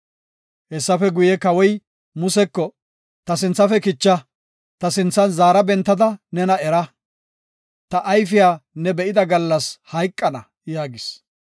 Hessafe guye, kawoy Museko, “Ta sinthafe kicha; ta sinthan zaara bentada nena era. Ta ayfiya ne be7ida gallas hayqana” yaagis.